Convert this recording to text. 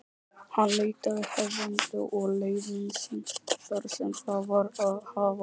Hann leitaði hefnda og liðsinnis þar sem það var að hafa.